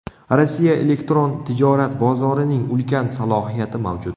Rossiya elektron tijorat bozorining ulkan salohiyati mavjud.